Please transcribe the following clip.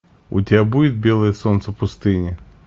у тебя будет белое солнце пустыни